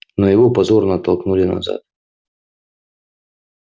но его позорно оттолкнули назад